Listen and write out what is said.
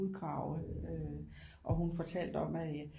Udgravet øh og hun fortalte om at